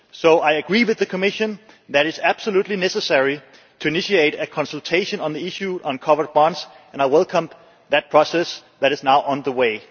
So I agree with the Commission that is absolutely necessary to initiate a consultation on the issue of covered bonds, and I welcome the process that is now on the way.